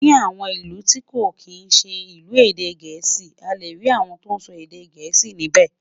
Ní àwọn ìlù tí kò kín ṣé ilu èdè gèésì, a lẹ rí àwòn tó sọ èdè gèésì níbè